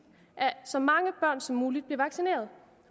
at så mange børn som muligt bliver vaccineret